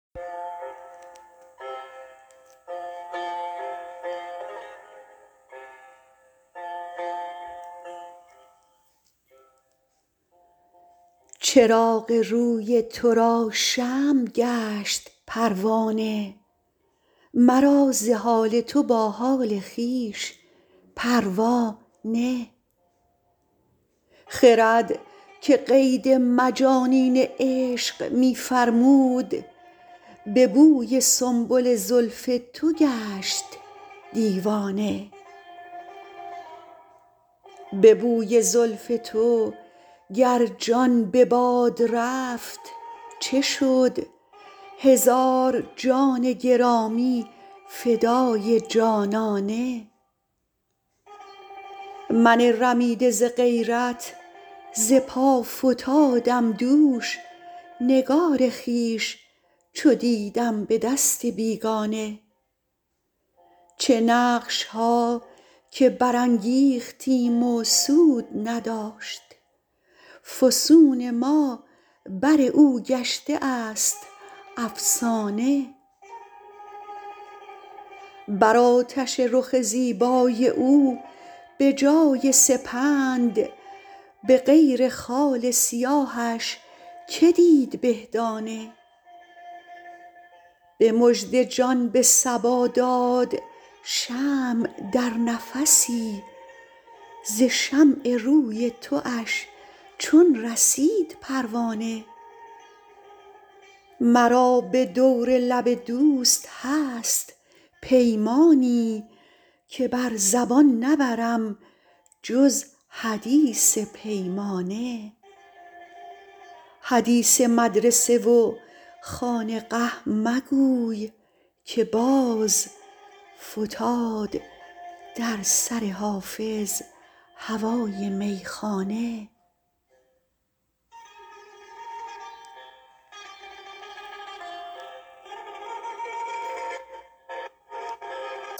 چراغ روی تو را شمع گشت پروانه مرا ز حال تو با حال خویش پروا نه خرد که قید مجانین عشق می فرمود به بوی سنبل زلف تو گشت دیوانه به بوی زلف تو گر جان به باد رفت چه شد هزار جان گرامی فدای جانانه من رمیده ز غیرت ز پا فتادم دوش نگار خویش چو دیدم به دست بیگانه چه نقش ها که برانگیختیم و سود نداشت فسون ما بر او گشته است افسانه بر آتش رخ زیبای او به جای سپند به غیر خال سیاهش که دید به دانه به مژده جان به صبا داد شمع در نفسی ز شمع روی تواش چون رسید پروانه مرا به دور لب دوست هست پیمانی که بر زبان نبرم جز حدیث پیمانه حدیث مدرسه و خانقه مگوی که باز فتاد در سر حافظ هوای میخانه